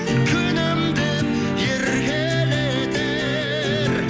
күнім деп еркелетер